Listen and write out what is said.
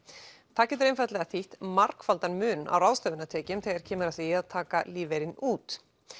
það getur þýtt margfaldan mun á ráðstöfunartekjum þegar kemur að því að taka lífeyrinn út